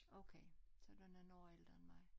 Okay så du nogen år ældre end mig